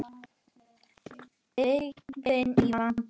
Byggðin í vanda.